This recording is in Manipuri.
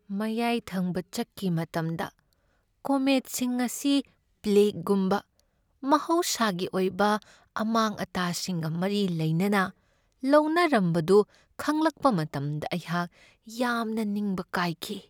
ꯃꯌꯥꯏ ꯊꯪꯕ ꯆꯛꯀꯤ ꯃꯇꯝꯗ ꯀꯣꯃꯦꯠꯁꯤꯡ ꯑꯁꯤ ꯄ꯭ꯂꯦꯒꯒꯨꯝꯕ ꯃꯍꯧꯁꯥꯒꯤ ꯑꯣꯏꯕ ꯑꯃꯥꯡ ꯑꯇꯥꯁꯤꯡꯒ ꯃꯔꯤ ꯂꯩꯅꯅ ꯂꯧꯅꯔꯝꯕꯗꯨ ꯈꯪꯂꯛꯄ ꯃꯇꯝꯗ ꯑꯩꯍꯥꯛ ꯌꯥꯝꯅ ꯅꯤꯡꯕ ꯀꯥꯏꯈꯤ ꯫